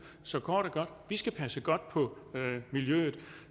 så kort og godt vi skal passe godt på miljøet